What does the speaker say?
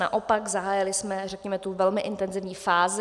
Naopak, zahájili jsme, řekněme, tu velmi intenzivní fázi.